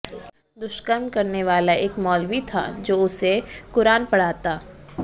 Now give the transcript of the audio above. दुष्कर्म करने वाला एक मौलवी था जो उसे कुरान पढ़ाता